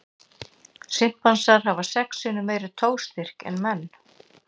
Simpansar hafa sex sinnum meiri togstyrk en menn.